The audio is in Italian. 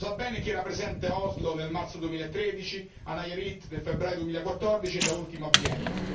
Lo sa bene chi era presente a Oslo nel marzo 2013, a Nayarit nel febbraio 2014 e da ultimo a Vienna.